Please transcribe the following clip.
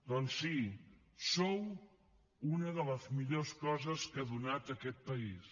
doncs sí sou una de les millors coses que ha donat aquest país